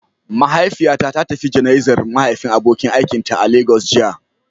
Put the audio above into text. Mahaifiyata ta tafi jana'izar mahaifin abokin aikinta a Lagos jiya.